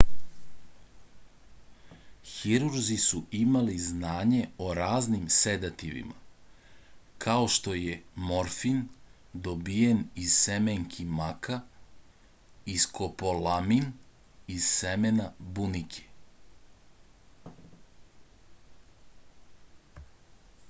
hirurzi su imali znanje o raznim sedativima kao što je morfin dobijen iz semenki maka i skopolamin iz semena bunike